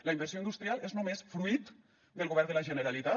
la inversió industrial és només fruit del govern de la generalitat